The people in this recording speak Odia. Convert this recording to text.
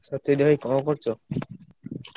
ସତ୍ୟଜିତ ଭାଇ କଣ କରୁଛ?